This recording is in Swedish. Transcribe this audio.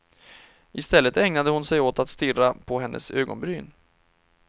Istället ägnade hon sig åt att stirra på hennes ögonbryn.